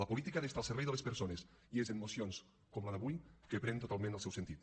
la política ha d’estar al servei de les persones i és en mocions com la d’avui que pren totalment el seu sentit